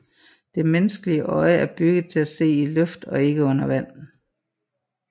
Det menneskelige øje er bygget til at se i luft og ikke under vand